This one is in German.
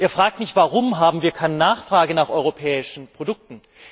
Er fragt nicht Warum haben wir keine Nachfrage nach europäischen Produkten?